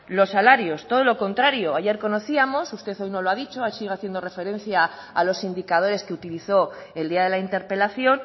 los salarios todo lo contrario ayer conocíamos usted hoy no lo ha dicho sigue haciendo referencia a los indicadores que utilizó el día de la interpelación